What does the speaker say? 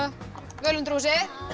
völundarhúsið